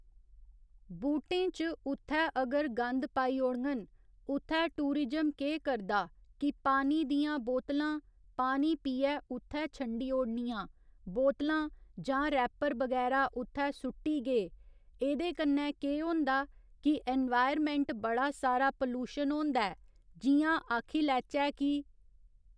बूह्‌टें च उत्थै अगर गंद पाई ओड़ङन उत्थै टूरिजम केह् करदा कि पानी दियां बोतलां पानी पीयै उत्थै छंडी ओड़नियां बोतलां जां रैह्पर बगैरा उत्थेै सुट्टी गे ऐह्दे कन्नै केह् होंदा कि इनवायरनमैंट बडा सारा पलूशन होंदा ऐ जि'यां आक्खी लैह्चै कि